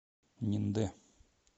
ниндэ